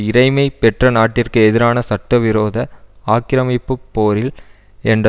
இறைமை பெற்ற நாட்டிற்கு எதிரான சட்டவிரோத ஆக்கிரமிப்பு போரில் என்ற